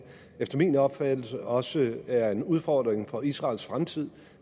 efter min opfattelse også er en udfordring for israels fremtid